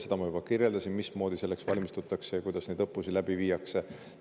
Seda ma kirjeldasin, mismoodi selleks valmistutakse ja kuidas neid õppusi läbi viiakse.